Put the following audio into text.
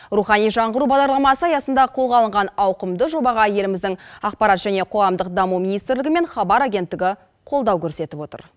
рухани жаңғыру бағдарламасы аясында қолға алынған ауқымды жобаға еліміздің ақпарат және қоғамдық даму министрлігі мен хабар агенттігі қолдау көрсетіп отыр